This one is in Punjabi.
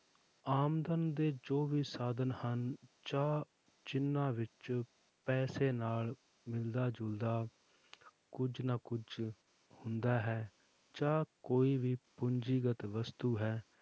ਆਮਦਨ ਦੇ ਜੋ ਵੀ ਸਾਧਨ ਹਨ ਜਾਂ ਜਿੰਨਾਂ ਵਿੱਚ ਪੈਸੇ ਨਾਲ ਮਿਲਦਾ ਜੁਲਦਾ ਕੁੱਝ ਨਾ ਕੁੱਝ ਹੁੰਦਾ ਹੈ ਜਾਂ ਕੋਈ ਵੀ ਪੂੰਜੀਗਤ ਵਸਤੂ ਹੈ,